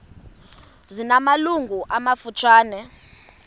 zina malungu amafutshane